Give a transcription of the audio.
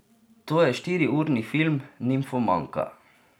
To je štiriurni film Nimfomanka.